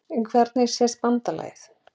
Hvernig sést BANDALAGIÐ?